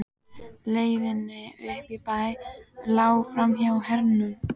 Leiðin upp í bæ lá framhjá Hernum.